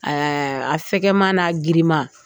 Ɛɛ a fɛgɛman n'a girinman